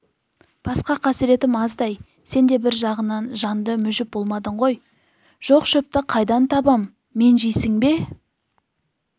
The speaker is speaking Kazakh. басқа қасыретім аздай сен де бір жағынан жанды мүжіп болмадың ғой жоқ шөпті қайдан табам мен жейсің бе